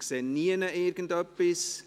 – Ich sehe nirgendswo irgendein Zeichen.